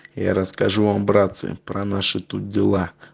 я расскажу вам братцы про наши тут дела